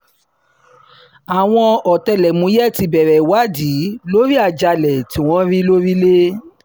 àwọn ọ̀tẹlẹ̀múyẹ́ ti bẹ̀rẹ̀ ìwádìí lórí àjàalẹ̀ tí wọ́n rí lọ́rílẹ̀